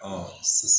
sisan